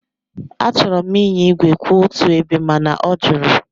Achọrọ m ịnya ígwè kwụ otu ebe mana ọ jụrụ.